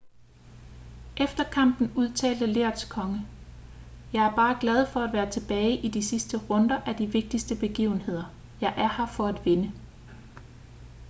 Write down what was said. efter kampen udtalte lerets konge jeg er bare glad for at være tilbage i de sidste runder af de vigtigste begivenheder jeg er her for at vinde